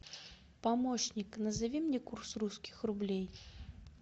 помощник назови мне курс русских рублей